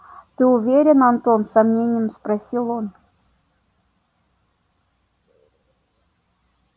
ты уверен антон с сомнением спросил он